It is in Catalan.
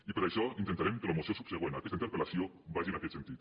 i per això intentarem que la moció subsegüent a aquesta interpel·lació vagi en aquest sentit